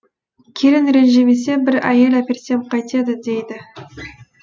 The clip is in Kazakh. келін ренжімесе бір әйел әперсем қайтеді дейді